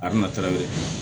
A bina